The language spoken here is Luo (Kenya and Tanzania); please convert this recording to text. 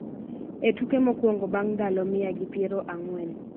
e tuke mokwongo bang� ndalo mia gi piero ang'wen.